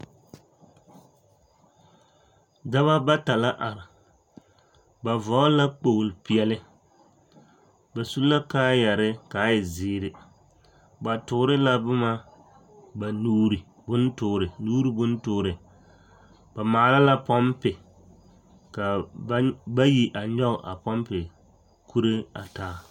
Dɔbɔ bata la are ba vɔgle la kpogle peɛle ba su la kaayɛre kaa e zeere ba toore la boma ba nuure bontoore nuure bontoore ba maala la pɔmpe kaa ba bayi a nyoge a pɔmpe kuree a taa.